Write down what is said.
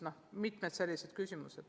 On ka teisi selliseid küsimusi.